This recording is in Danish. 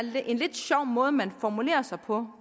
en lidt sjov måde man formulerer sig på